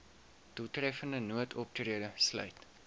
doeltreffende noodoptrede sluit